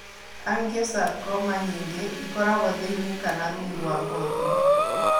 Angiosarcoma nyingĩ ĩkoragũo thĩinĩ kana rungu rwa ngothi.